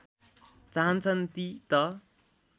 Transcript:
चाहन्छन् ती त